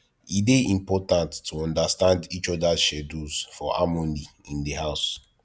e dey important to understand each others schedules for harmony in the house